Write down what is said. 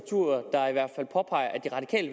i